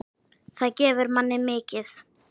Það gefur manni mikið.